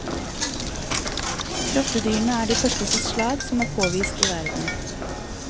Grottedyrene er de første i sitt slag som er påvist i verden.